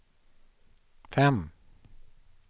fem